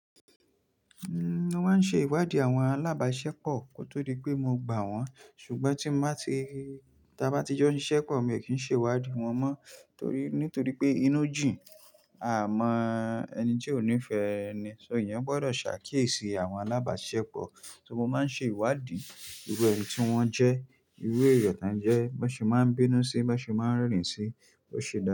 Mo máa ń ṣe ìwádìí àwọn alábàáṣepọ̀ kó tó di pé mo gbà wọ́n, ṣùgbọ́n tí a bá ti jọ siṣẹ́ pọ̀ mi ò kí ń ṣe ìwádìí wọn mọ́ nítorí pé inú jìn, a mọ ẹni tí ò nífẹ̀ẹ́ ẹni, ṣó iyan gbọdọ̀ ṣàkíyèsí àwọn alábàáṣepọ̀. So mo máa ń ṣe ìwádìí irú ẹni tí wọ́n jẹ́, irú èèyàn tán jẹ́, bọ́ ṣe máa ń bínú sí, bọ́ ṣe máa ń rẹ́rìn-ín sí, bó ṣe dá.